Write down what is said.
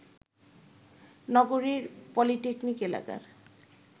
নগরীর পলিটেকনিক এলাকার